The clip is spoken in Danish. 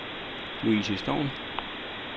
Louise Storm